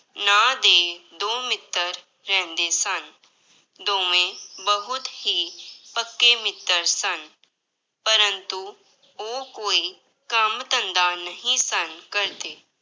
ਨਾਂਂ ਦੇ ਦੋ ਮਿੱਤਰ ਰਹਿੰਦੇ ਸਨ, ਦੋਵੇਂ ਬਹੁਤ ਹੀ ਪੱਕੇ ਮਿੱਤਰ ਸਨ, ਪਰੰਤੂ ਉਹ ਕੋਈ ਕੰਮ ਧੰਦਾ ਨਹੀਂ ਸਨ ਕਰਦੇ।